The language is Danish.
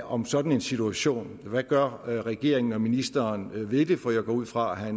om sådan en situation hvad gør regeringen og ministeren ved det for jeg går ud fra at